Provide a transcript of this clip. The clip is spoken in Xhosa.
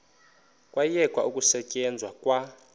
kwayekwa ukusetyenzwa kwa